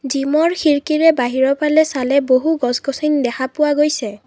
জিমৰ খিৰকীৰে বাহিৰৰ ফালে চালে বহু গছ গছনি দেখা পোৱা গৈছে।